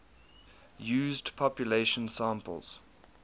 used population samples